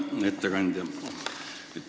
Hea ettekandja!